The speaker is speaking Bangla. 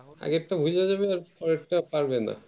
আগের টা হয়ে যাওয়ার পর পরের টা পারবেন না